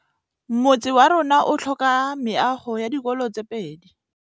Motse warona o tlhoka meago ya dikolô tse pedi.